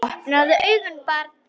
Opnaðu augun barn!